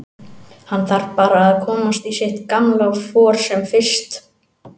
Hann þarf bara að komast í sitt gamla for sem fyrst.